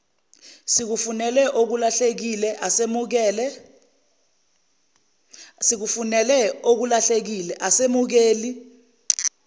sikufunele okulahlekile asemukeli